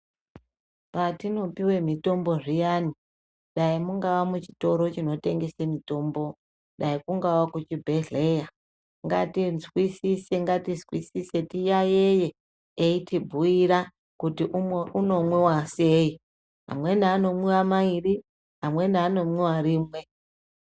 Patino piwe mitombo zviyani dai mungava mu chitoro chino tengese mitombo dai kungava ku chibhedhleya ngati nzwisise ngati nzwisise tiyayiye eiti bhuyira kuti uno mwiwa sei amweni ano mwiwa mairi amweni ano mwiwa rimwe.